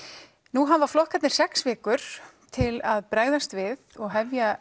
nú hafa flokkarnir sex vikur til að bregðast við og hefja